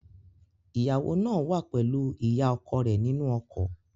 Ìyàwó náà wà pẹ̀lú ìyá ọkọ rẹ̀ nínú ọkọ̀